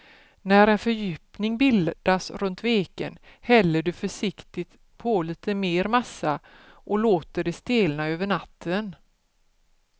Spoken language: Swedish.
När en fördjupning bildats runt veken häller du försiktigt på lite mer massa och låter det stelna över natten.